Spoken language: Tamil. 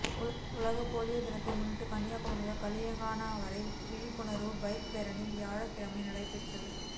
உலக போலியோ தினத்தை முன்னிட்டு கன்னியாகுமரி முதல் களியக்காவிளை வரை விழிப்புணா்வு பைக் பேரணி வியாழக்கிழமை நடைபெற்றது